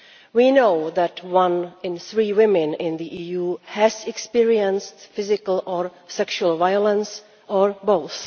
We know that one in three women in the EU has experienced physical or sexual violence or both.